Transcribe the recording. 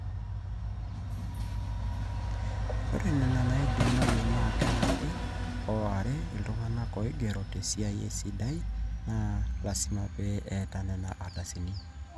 ore ena neidimayu naa karaki aa ore iltung'anak ooigero tesiaai esidai naa lasima pee eeta nena ardasini